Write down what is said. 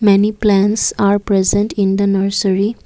many plants are present in the nursery.